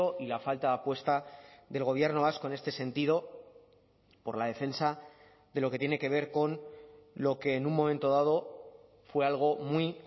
y la falta de apuesta del gobierno vasco en este sentido por la defensa de lo que tiene que ver con lo que en un momento dado fue algo muy